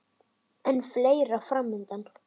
En fleira er fram undan.